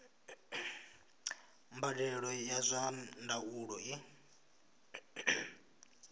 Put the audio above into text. mbadelo ya zwa ndaulo i